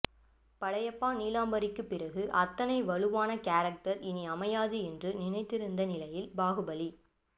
படையப்பா நீலாம்பரிக்கு பிறகு அத்தனை வலுவான கேரக்டர் இனி அமையாது என்று நினைத்திருந்த நிலையில் பாகுபலி